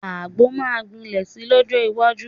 Àgbo máa gbilẹ̀ si lọ́jọ́ iwájú